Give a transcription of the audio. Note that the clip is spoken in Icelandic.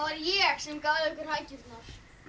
ég sem gaf ykkur hækjurnar